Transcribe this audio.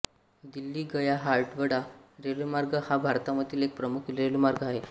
दिल्लीगयाहावडा रेल्वेमार्ग हा भारतामधील एक प्रमुख रेल्वेमार्ग आहे